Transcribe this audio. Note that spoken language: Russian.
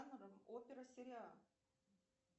опера сериал